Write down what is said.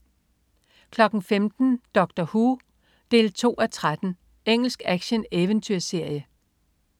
15.00 Doctor Who 2:13. Engelsk action-eventyrserie